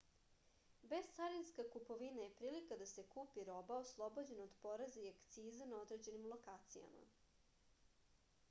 bescarinska kupovina je prilika da se kupi roba oslobođena od poreza i akciza na određenim lokacijama